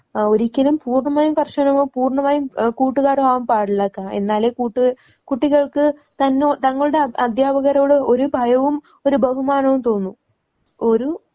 ആഹ് ഒരിക്കലും പൂർണ്ണമായും കർശനവും പൂർണ്ണമായുംഏഹ് കൂട്ടുകാരോ ആവാൻ പാടില്ല. എന്നാലേ കൂട്ട്, കുട്ടികൾക്ക് തന്നോ തങ്ങളുടെ അധ്യാപകരോട് ഒരു ഭയവും ഒരു ബഹുമാനവും തോന്നൂ. ഒരു